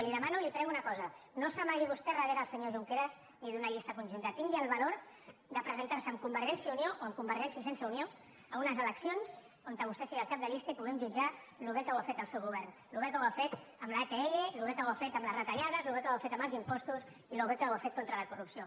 i li demano i li prego una cosa no s’amagui vostè darrere el senyor junqueras ni d’una llista conjunta tingui el valor de presentar se amb convergència i unió o amb convergència sense unió a unes eleccions on vostè sigui el cap de llista i puguem jutjar com de bé ho ha fet el seu govern com de bé ho ha fet amb l’atll com de bé ho ha fet amb les retallades com de bé ho ha fet amb els impostos i com de bé ho ha fet contra la corrupció